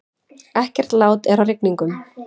Ekkert lát er á rigningunum